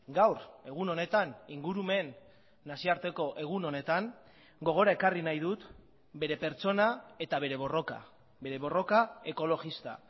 gaur egun honetan ingurumen nazioarteko egun honetan gogora ekarri nahi dut bere pertsona eta bere borroka bere borroka ekologista